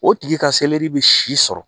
O tigi ka selɛri bɛ si sɔrɔ